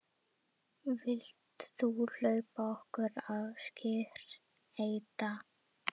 Vilt þú hjálpa okkur að skreyta?